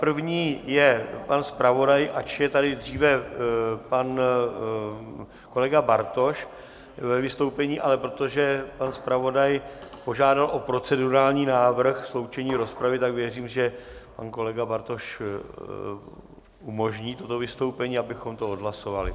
První je pan zpravodaj, ač je tady dříve pan kolega Bartoš ve vystoupení, ale protože pan zpravodaj požádal o procedurální návrh sloučení rozpravy, tak věřím, že pan kolega Bartoš umožní toto vystoupení, abychom to odhlasovali.